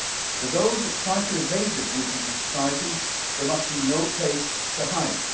For those that try to evade their duty to society, there must be no place to hide.